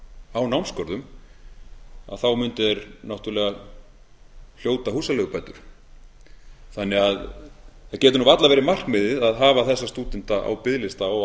á námsgörðum mundu þeir náttúrlega hljóta húsaleigubætur það getur varla verið markmiðið að hafa þessa stúdenta á biðlista og á